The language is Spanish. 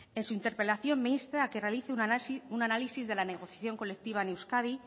en su interpelación me insta a que realice un análisis de la negociación colectiva en euskadi